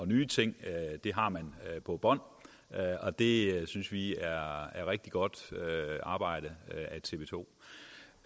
nye ting på bånd det synes vi er rigtig godt arbejde